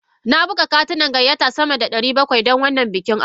Na buga katunan gayyata sama da ɗari bakwai don wannan bikin aure.